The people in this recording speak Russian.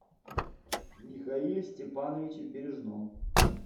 михаиле степановиче бережном